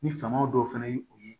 Ni famaw dɔw fana ye u ye